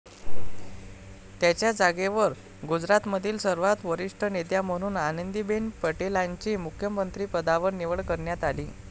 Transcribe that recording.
त्यांच्या जागेवर गुजरातमधील सर्वात वरिष्ठ नेत्या म्हणून आनंदीबेन पटेलांची मुख्यमंत्रीपदावर निवड करण्यात आली.